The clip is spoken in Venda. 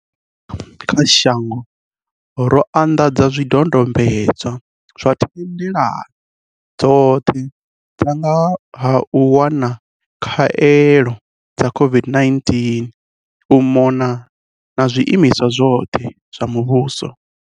Tsha u thoma kha shango, ro anḓadza zwidodombedzwa zwa thendelano dzoṱhe dza nga ha u wana khaelo dza COVID-19 u mona na zwiimiswa zwoṱhe zwa muvhuso.